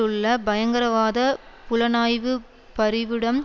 உள்ள பயங்கரவாத புலனாய்வு பரிவிடம்